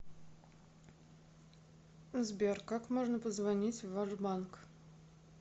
сбер как можно позвонить в ваш банк